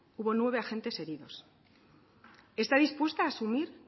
hubo nueve agentes heridos está dispuesta asumir